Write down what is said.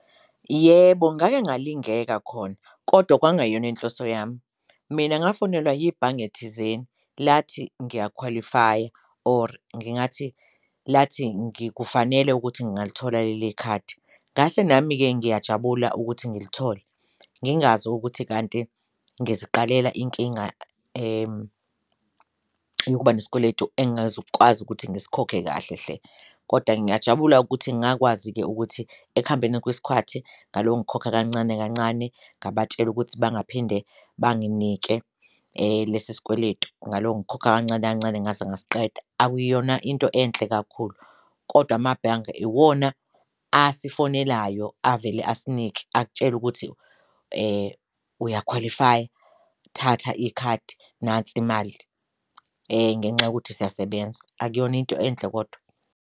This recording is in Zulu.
Yebo, ngake ngalingeka khona kodwa kwangayona inhloso yami, mina ngafonelwa yibhange thizeni lathi ngiyakhwalifaya or ngingathi lathi ngikufanele ukuthi ngalithola leli khadi, ngase nami-ke ngiyajabula ukuthi ngilithole ngingazi ukuthi kanti ngiziqalela inkinga yokuba nesikweletu engezukwazi ukuthi ngisikhokhe kahle hle. Koda ngiyajabula ukuthi ngakwazi-ke ukuthi ekuhambeni kwesikhwathi ngalo ngikhokha kancane kancane ngabatshela ukuthi bangaphinde banginike lesi sikweletu ngalo ngikhokha kancane kancane ngaze ngasiqeda. Akuyona into enhle kakhulu kodwa amabhange iwona asifonelayo avele asinike akutshele ukuthi uyakhwalifaya thatha ikhadi nansi imali ngenxa yokuthi siyasebenza, akuyona into enhle kodwa.